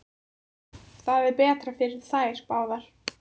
Það er betra fyrir þær báðar.